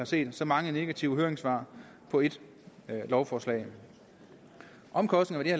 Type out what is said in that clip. set så mange negative høringssvar på et lovforslag omkostningerne